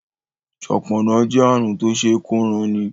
ṣọpọnna jé àrùn Tó ṣeé kóranni